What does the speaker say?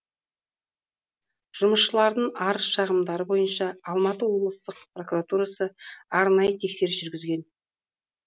жұмысшылардың арыз шағымдары бойынша алматы облыстық прокуратурасы арнайы тексеріс жүргізген